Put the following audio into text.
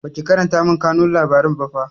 Baki karanta min kanun labaran ba fa